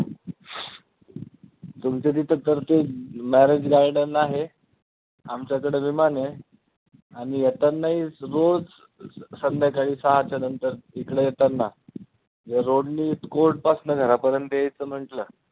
तुमच्या तिथं खर तर marriage garden आहे. आमच्याकडे विमान आहे आणि येताना ही रोज स संध्याकाळी येताना सहाच्यानंतर इकडे येताना या road नी court पासनं घरापर्यंत यायचं म्हंटलं,